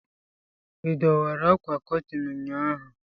ị dọwara ákwà Kọtịn ụnyaahụ?